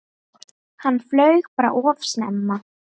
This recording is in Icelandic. Hann flaug bara of snemma.